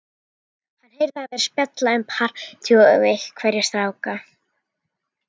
Hann heyrir að þær spjalla um partí og einhverja stráka.